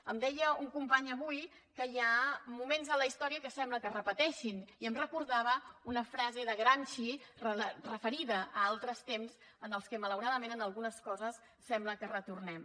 em deia un company avui que hi ha moments en la història que sembla que es repeteixin i em recordava una frase de gramsci referida a altres temps en els quals malauradament en algunes coses sembla que retornem